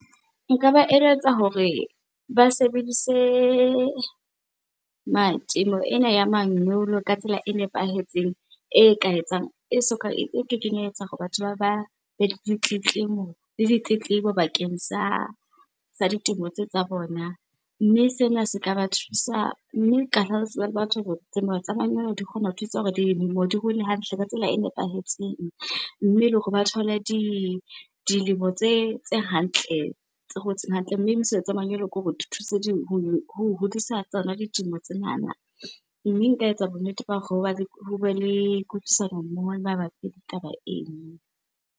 Nka ba re eletsa hore ba sebedise temo ena ya manyolo ka tsela e nepahetseng e ka etsang, e soka, e ke keng ya etsa hore batho ba be le ditletlebo bakeng sa ditemo tseo tsa bona. Mme sena se ka ba thusa, mme tseba le batho hore temo tsa manyolo di kgona ho thusa hore dilemo di hole hantle ka tsela e nepahetseng mme le hore ba thole dilemo tse hantle, tse hotseng hantle. Mme, mosebetsi wa manyolo kore di thuse ho hodisa tsona ditemo tsenana. Mme nka etsa bonnete ba hoba le, ho be le kutlwisisano mmoho mabapi le taba eno.